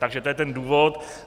Takže to je ten důvod.